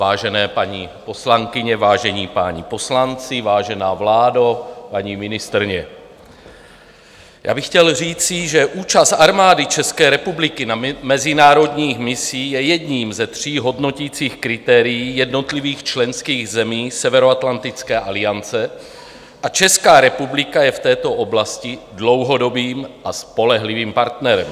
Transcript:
Vážené paní poslankyně, vážení páni poslanci, vážená vládo, paní ministryně, já bych chtěl říci, že účast Armády České republiky na mezinárodních misích je jedním ze tří hodnoticích kritérií jednotlivých členských zemí Severoatlantické aliance a Česká republika je v této oblasti dlouhodobým a spolehlivým partnerem.